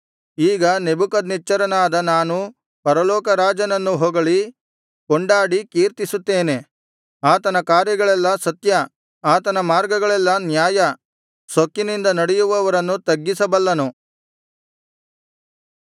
ಈಗ ನೆಬೂಕದ್ನೆಚ್ಚರನಾದ ನಾನು ಪರಲೋಕ ರಾಜನನ್ನು ಹೊಗಳಿ ಕೊಂಡಾಡಿ ಕೀರ್ತಿಸುತ್ತೇನೆ ಆತನ ಕಾರ್ಯಗಳೆಲ್ಲಾ ಸತ್ಯ ಆತನ ಮಾರ್ಗಗಳೆಲ್ಲಾ ನ್ಯಾಯ ಸೊಕ್ಕಿನಿಂದ ನಡೆಯುವವರನ್ನು ತಗ್ಗಿಸಬಲ್ಲನು